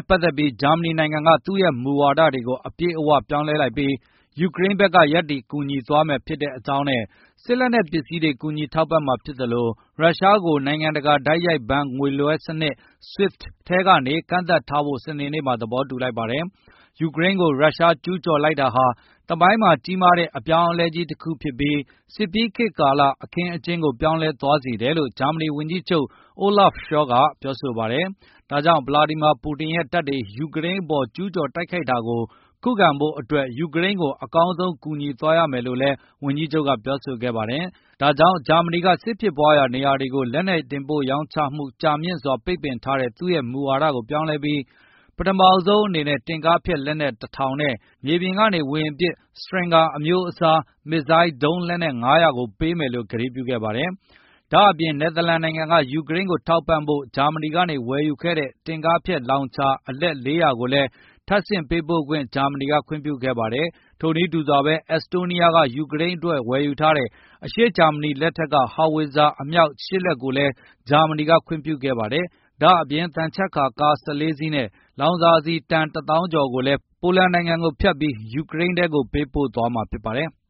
့ ပတ်သက်ပြီး ဂျာမနီနိုင်ငံက သူ့ရဲ့မူဝါဒတွေကို အပြည့်အဝ ပြောင်းလဲလိုက်ပြီး ယူကရိန်းဘက်က ရပ်တည်ကူညီသွားမှာ ဖြစ်ကြောင်းနဲ့ စစ်လက်နက်ပစ္စည်းတွေ ကူညီထောက်ပံ့မှာဖြစ်သလို ရုရှားကို နိုင်ငံတကာ တိုက်ရိုက်ဘဏ်ငွေလွဲှစနစ် SWIFT ထဲကနေ ကန့်သတ်ထားဖို့ စနေနေ့မှာ သဘောတူလိုက်ပါတယ်။ ယူကရိန်းကို ရုရှား ကျူးကျော်လိုက်တာဟာ သမိုင်းမှာ ကြီးမားတဲ့ အပြောင်းအလဲတခု ဖြစ်ပြီး စစ်ပြီးခေတ်ကာလ အခင်းအကျင်းကို ပြောင်းလဲသွားစေတယ်လို့ ဂျာမနီဝန်ကြီးချုပ် Olaf Scholz က ပြောပါတယ်။ ဒါကြောင့် ဗလာဒီမာပူတင်ရဲ့တပ်တွေ ယူကရိန်းအပေါ် ကျူးကျော်တိုက်ခိုက်တာကို ခုခံဖို့အတွက် ယူကရိန်းကို အကောင်းဆုံး ကူညီသွားရမယ်လို့လည်း ဝန်ကြီးချုပ်က ပြောဆိုခဲ့ပါတယ်။ ဒါကြောင့် ဂျာမနီက စစ်ဖြစ်ပွားရာ နေရာတွေကို လက်နက်တင်ပို့ ရောင်းချမှု ကြာမြင့်စွာ ပိတ်ပင်ထားတဲ့ သူ့ရဲ့မူဝါဒကို ပြောင်းလဲပြီး ပထမဆုံးအနေနဲ့ တင်ကားဖျက်လက်နက် ၁,၀၀၀ နဲ့ မြေပြင်ကနေ ဝေဟင်ပစ် Stinger အမျိုးအစား မစ်ဇိုင်းဒုံးလက်နက် ၅၀၀ ကို ပေးမယ်လို့ ကတိပြုခဲ့ပါတယ်။ ဒါ့အပြင် နယ်သာလန်က ယူကရိန်းကို ထောက်ပံ့ဖို့ ဂျာမနီကနေ ဝယ်ယူခဲ့တဲ့ တင့်ကားဖျက်လောင်ချာ အလက် ၄၀၀ ကိုလည်း ထပ်ဆင့်ပေးပို့ခွင့်ကို ဂျာမနီက ခွင့်ပြုခဲ့ပါတယ်။ ထိုနည်းတူစွာပဲ အက်စတိုးနီးယားက ယူကရိန်းအတွက် ဝယ်ယူတဲ့ အရှေ့ဂျာမနီ လက်ထက်က ဟောင်ဝစ်ဇာအမြောက် ၈ လက်ကိုလည်း ဂျာမနီက ခွင့်ပြုခဲ့ပါတယ်။ ဒါ့အပြင် သံချပ်ကာကား ၁၄ စီးနဲ့ လောင်စာဆီ တန် ၁၀,၀၀၀ ကျော်ကိုလည်း ပိုလန်နိုင်ငံကိုဖြတ်ပြီး ယူကရိန်းကို ပေးပို့သွားမှာ ဖြစ်ပါတယ်။